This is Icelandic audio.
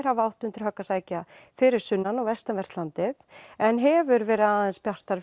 hafa átt undir högg að sækja fyrir sunnan og vestanvert landið en hefur verið aðeins bjartara